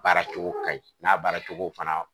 Baara cogo ka ɲi ,n'a baara cogo fana